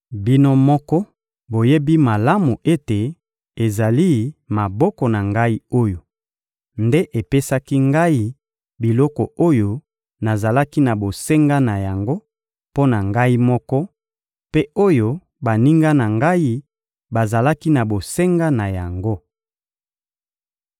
Bino moko boyebi malamu ete ezali maboko na ngai oyo, nde epesaki ngai biloko oyo nazalaki na bosenga na yango mpo na ngai moko, mpe oyo baninga na ngai bazalaki na bosenga na yango.